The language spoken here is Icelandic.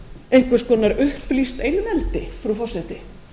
einhvers konar upplýst einveldi frú forseti